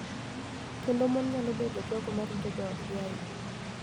Kendo mon nyalo bedo jogo ma rito joodgi ahinya.